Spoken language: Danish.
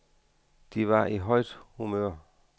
De var i højt humør.